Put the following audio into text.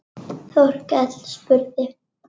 Þórkell spurði